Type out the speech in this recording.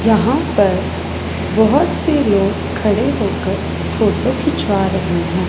यहां पर बहोत से लोग खड़े होकर फोटो खिंचवा रहे हैं।